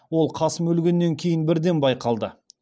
ол қасым өлгеннен кейін бірден байқалды